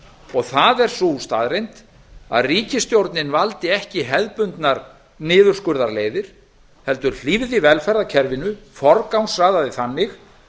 fjármálum það er sú staðreynd að ríkisstjórnin valdi ekki hefðbundnar niðurskurðarleiðir heldur hlífði velferðarkerfinu forgangsraðaði þannig